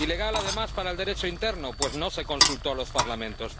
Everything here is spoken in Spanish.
ilegal además para el Derecho interno, pues no se consultó a los Parlamentos.